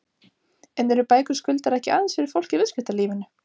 En eru bækur Skuldar ekki aðeins fyrir fólk í viðskiptalífinu?